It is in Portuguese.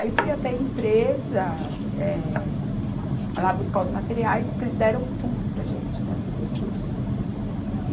Aí fui até a empresa, eh lá buscar os materiais, porque eles deram tudo para a gente, né, para fazer o curso.